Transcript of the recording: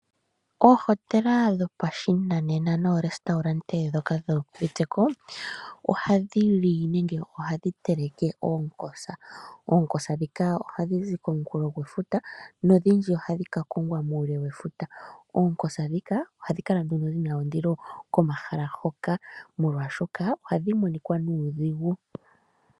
Oohotela ndhoka dho pashinanena no restaurant dhoka dhi uviteko, oha dhili nenge ohadhi teleke oonkosa. Oonkosa dhika ohadhi zi ko mukulo gwe futa, nodhindji ohadhi ka kongwa muule we futa. Oknkosa dhika ohadhi kala nduno dhina ondilo, ko mahala hoka, molwaashoka ohadhi monika nuudhigu.